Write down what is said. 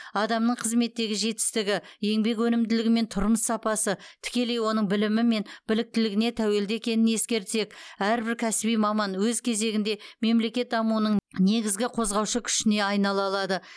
адамның қызметтегі жетістігі еңбек өнімділігі мен тұрмыс сапасы тікелей оның білімі мен біліктілігіне тәуелді екенін ескертсек әрбір кәсіби маман өз кезегінде мемлекет дамуының негізгі қозғаушы күшіне айнала алады